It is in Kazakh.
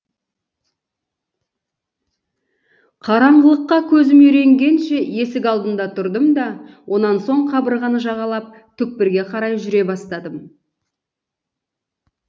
қараңғылыққа көзім үйренгенше есік алдында тұрдым да онан соң қабырғаны жағалап түкпірге қарай жүре бастадым